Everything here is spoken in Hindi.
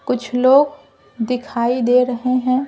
कुछ लोग दिखाई दे रहे हैं।